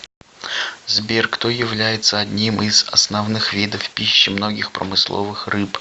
сбер кто является одним из основных видов пищи многих промысловых рыб